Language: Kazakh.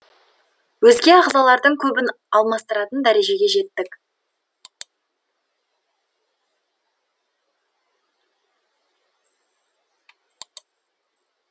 өзге ағзалардың көбін алмастыратын дәрежеге жеттік